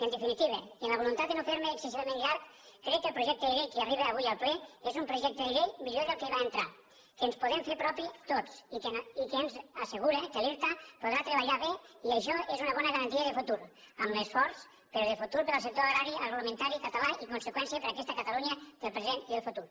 en definitiva i amb la voluntat de no fer me excessivament llarg crec que el projecte de llei que arriba avui al ple és un projecte de llei millor del que hi va entrar que ens podem fer propi tots i que ens assegura que l’irta podrà treballar bé i això és una bona garantia de futur amb esforç però de futur per al sector agrari i agroalimentari català i en conseqüència per a aquesta catalunya del present i del futur